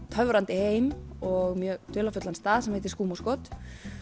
töfrandi heim og mjög dularfullan stað sem heitir skúmaskot